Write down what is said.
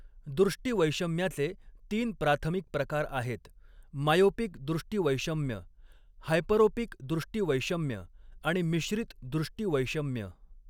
दृष्टिवैषम्याचे तीन प्राथमिक प्रकार आहेत, मायोपिक दृष्टिवैषम्य, हायपरोपिक दृष्टिवैषम्य आणि मिश्रित दृष्टिवैषम्य.